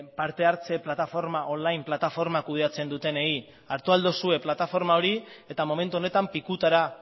partehartze plataforma on line plataforma kudeatzen dutenei hartu ahal duzue plataforma hori eta momentu honetan pikutara